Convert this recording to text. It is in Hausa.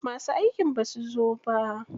Masu aikin basu zo ba.